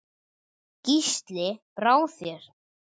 Gísli: Brá þér?